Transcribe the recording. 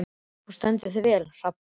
Þú stendur þig vel, Hrafnborg!